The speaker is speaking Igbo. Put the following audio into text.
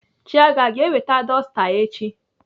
Chiaga aga eweta dọsta echi?